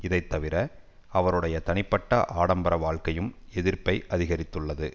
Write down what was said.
இதை தவிர அவருடைய தனிப்பட்ட ஆடம்பர வாழ்க்கையும் எதிர்ப்பை அதிகரித்துள்ளது